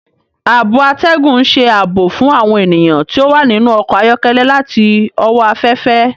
Ààbò atẹgun n ṣe ààbò fún awọn ènìyàn ti o wa ninu ọkọ ayọkẹlẹ láti owó aféfé.